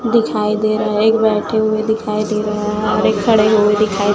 दिखाई दे रहा है एक बैठे हुए दिखाई दे रहा है और एक खड़े हुए दिखाई--